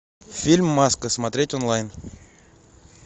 фильм маска смотреть онлайн